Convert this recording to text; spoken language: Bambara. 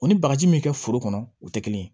O ni bagaji min bɛ kɛ foro kɔnɔ o tɛ kelen ye